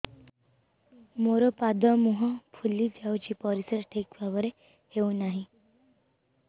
ମୋର ପାଦ ମୁହଁ ଫୁଲି ଯାଉଛି ପରିସ୍ରା ଠିକ୍ ଭାବରେ ହେଉନାହିଁ